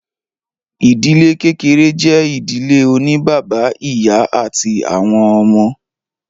Ìdílé kékeré jẹ́ ìdílé oní bàbá, ìyá àti àwọn ọmọ.